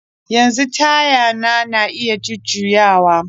Yanzu tayan na iya jujjuyawa